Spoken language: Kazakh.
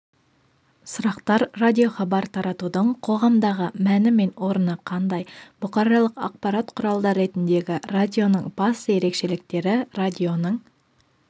сұрақтар радиохабар таратудың қоғамдағы мәні мен орны қандай бұқаралық ақпарат құралы ретіндегі радионың басты ерекшеліктері радионың